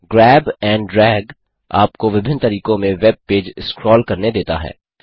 grab and drag आपको विभिन्न तरीकों में वेब पेज स्क्रॉल करने देता है